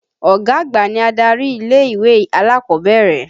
Ọ̀gá àgbà ni adarí ilé-ìwé alákọ̀ọ́bẹ̀rẹ̀.